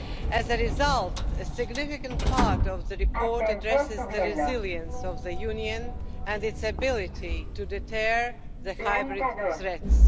As a result, a significant part of the report addresses the resilience of the Union and its ability to deter hybrid threats.